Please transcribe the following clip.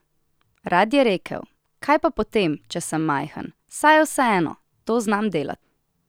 Rad je rekel: 'Kaj pa potem, če sem majhen, saj je vseeno, to znam delati.